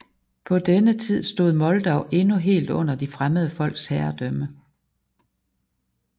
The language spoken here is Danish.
På denne tid stod Moldau endnu helt under de fremmede folks herredømme